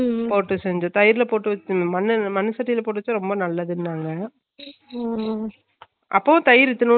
அஹ் அரிசி கழுவுனா தண்ணி உத்தி ரெண்டுநாளைக்கு உற வைக்கணும் அப்பறோ வடுச்சா கஞ்சி உத்தி வைக்கோணும் பழகுனா பின்னாடி அதுல கொழம்பு